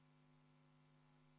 Kümme minutit veel.